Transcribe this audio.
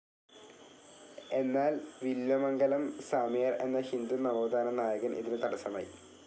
എന്നാൽ വില്വമംഗലം സ്വാമിയാർ എന്ന ഹിന്ദു നവോത്‌ഥാന നായകൻ ഇതിന് തടസമായി.